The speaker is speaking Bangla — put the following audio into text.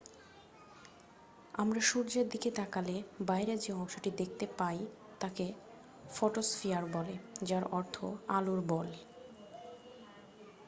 "আমরা সূর্যের দিকে তাকালে বাইরের যে অংশটি দেখতে পাই তাকে ফটোস্ফিয়ার বলে যার অর্থ "আলোর বল""।